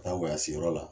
Taa wasiyɔrɔ la